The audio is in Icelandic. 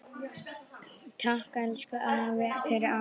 Takk, elsku afi, fyrir allt.